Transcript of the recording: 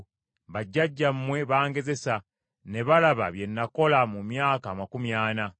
Bajjajjammwe bangezesa, ne balaba bye nakola mu myaka amakumi ana.